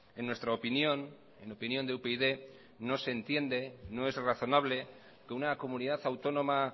en nuestra opinión en opinión de upyd no se entiende no es razonable que una comunidad autónoma